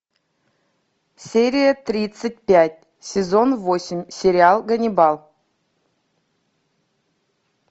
серия тридцать пять сезон восемь сериал ганнибал